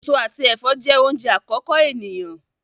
Èso àti ẹfọ jẹ oúnjẹ àkọ́kọ́ eniyan.